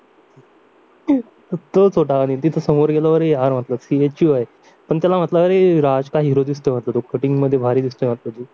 तोच होता आणि समोर गेला तर हा CHU पण त्याला म्हटलं अरे राज का दिसतोय म्हटलं तू कटिंग मध्ये भारी दिसतोय म्हटलं